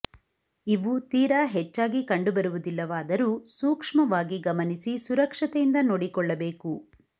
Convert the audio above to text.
ಇವು ತೀರಾ ಹೆಚ್ಚಾಗಿ ಕಂಡು ಬರುವುದಿಲ್ಲವಾದರೂ ಸೂಕ್ಷ್ಮವಾಗಿ ಗಮನಿಸಿ ಸುರಕ್ಷತೆಯಿಂದ ನೋಡಿಕೊಳ್ಳಬೇಕು